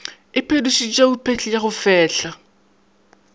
iphetošitšego phehli ya go fehla